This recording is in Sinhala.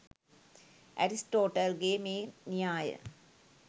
ඇරිස්ටෝටල් ගේ මේ න්‍යාය